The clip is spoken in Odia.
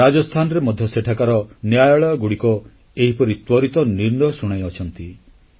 ରାଜସ୍ଥାନରେ ମଧ୍ୟ ସେଠାକାର ନ୍ୟାୟାଳୟଗୁଡ଼ିକ ଏହିପରି ତ୍ୱରିତ ନିର୍ଣ୍ଣୟ ଶୁଣାଇଅଛନ୍ତି